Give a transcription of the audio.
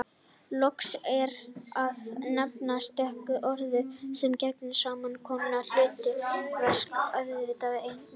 Loks er að nefna stök orð sem gegna sams konar hlutverki: auðvitað einmitt hægan vitanlega